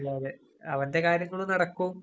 അല്ലാതെ അവന്‍റെ കാര്യങ്ങളും നടക്കും.